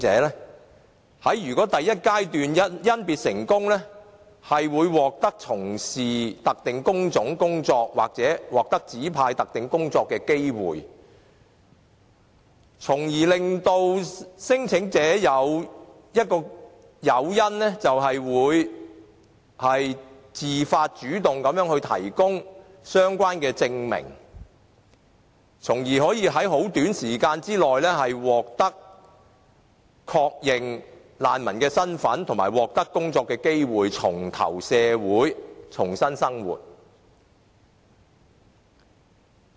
如果他們在第一階段甄別成功，將會獲得從事特定工種的工作或獲指派特定工作的機會，為聲請者提供誘因，讓他們自發、主動的提供相關證明，從而可以在很短時間內獲得確認難民的身份及工作機會，重投社會，重新生活。